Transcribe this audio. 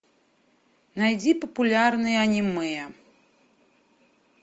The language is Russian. найди популярные аниме